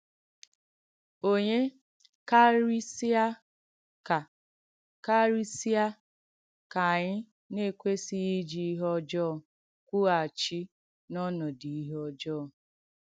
Ònye kàrìsị̀à ka kàrìsị̀à ka ànyị̀ na-èkwèsị̀ghị ijì ìhé ọ̀jọ̀ọ̀ kwùghàchì n’ònòdù ìhé ọ̀jọ̀ọ̀?